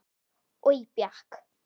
Oj bjakk.